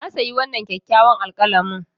Na sayi wannan kyakkyawan alkalami.